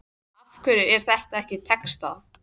Af hverju er þetta ekki textað?